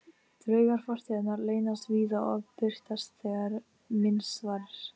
Draugar fortíðarinnar leynast víða og birtast þegar minnst varir.